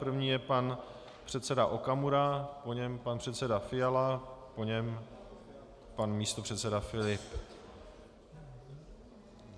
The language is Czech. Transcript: První je pan předseda Okamura, po něm pan předseda Fiala, po něm pan místopředseda Filip.